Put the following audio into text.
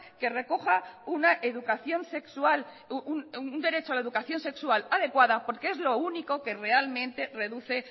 que recoja una educación sexual un derecho a la educación sexual adecuada porque es lo único que realmente reduce